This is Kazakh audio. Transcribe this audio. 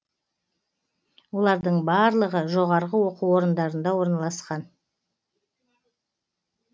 олардың барлығы жоғары оқу орындарында орналасқан